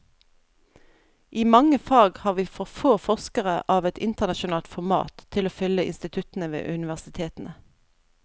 I mange fag har vi for få forskere av et internasjonalt format til å fylle instituttene ved universitetene.